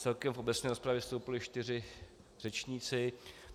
Celkem v obecné rozpravě vystoupili čtyři řečníci.